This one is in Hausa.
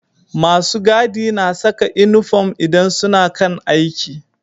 Masu gadi na Saka inufom idan suna kan aiki